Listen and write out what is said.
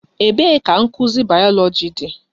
Ebee ka nkuzi bayoloji dị?